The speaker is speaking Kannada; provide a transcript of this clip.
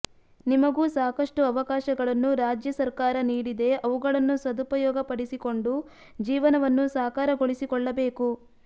ನಿಮಗೂ ಸಾಕಷ್ಟು ಅವಕಾಶಗಳನ್ನು ರಾಜ್ಯ ಸರ್ಕಾರ ನೀಡಿದೆ ಅವುಗಳನ್ನು ಸದುಪಯೋಗ ಪಡೆಸಿಕೊಂಡು ಜೀವನವನ್ನು ಸಾಕಾರಗೊಳಿಸಿಕೊಳ್ಳಬೇಕು